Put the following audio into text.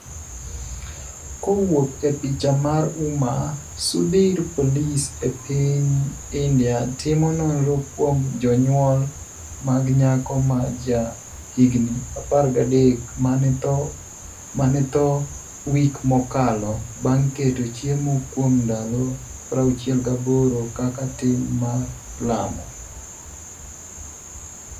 kowuok e picha mar UMA SUDHIR Polis e piny India timo nonro kuom jonyuol mag nyako ma ja higni 13 mane tho wik mokalo bang' keto chiemo kuom ndalo 68 kaka tim mar lamo.